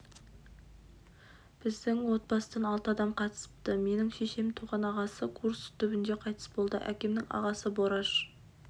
біздің отбасыдан алты адам қатысыпты менің шешемнің туған ағасы курск түбінде қайтыс болды әкемнің ағасы бораш